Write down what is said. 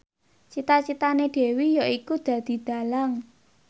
cita citane Dewi yaiku dadi dhalang